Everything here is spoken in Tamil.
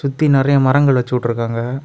சுத்தி நறைய மரங்கள் வெச்சு உட்ருக்காங்க.